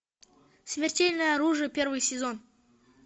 смертельное оружие первый сезон